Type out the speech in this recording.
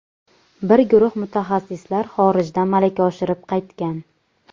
Bir guruh mutaxassislar xorijda malaka oshirib qaytgan.